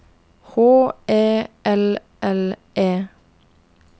H E L L E